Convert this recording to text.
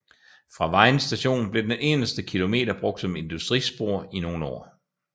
Fra Vejen Station blev den inderste kilometer brugt som industrispor i nogle år